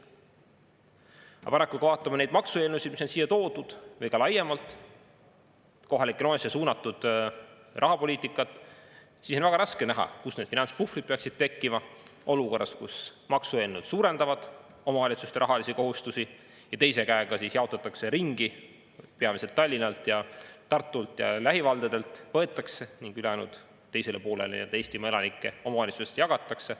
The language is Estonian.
Aga paraku, kui vaatame neid maksueelnõusid, mis on siia toodud, või ka laiemalt kohalikele omavalitsustele suunatud rahapoliitikat, siis on väga raske näha, kust need finantspuhvrid peaksid tekkima olukorras, kus maksueelnõud suurendavad omavalitsuste rahalisi kohustusi ja teise käega jaotatakse ringi – peamiselt Tallinnalt, Tartult ja lähivaldadelt võetakse ning ülejäänud teisele poolele ja Eestimaa elanikele omavalitsustest jagatakse.